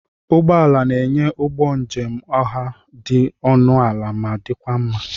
Ụgbọ ala na-enye ụgbọ njem ọha dị ọnụ ala ma dịkwa mma.